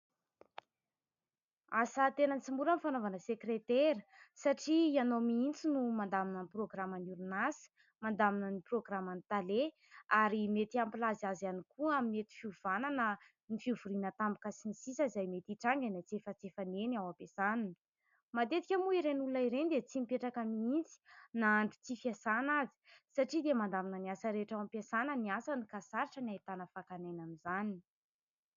Asa tena tsy mora ny fanaovana sekretera satria ianao mihitsy no mandamina ny programan'ny orinasa, mandamina ny programan'ny tale, ary mety hampilaza azy ihany koa amin'ny mety fiovana na ny fivoriana tampoka sy ny sisa izay mety hitranga eny antsefatsefany eny ao am-piasana. Matetika moa ireny olona ireny dia tsy mipetraka mihitsy na andro tsy fiasana aza satria dia mandamina ny asa rehetra ao am-piasana ny asany ka sarotra ny ahitana fakana aina amin'izany.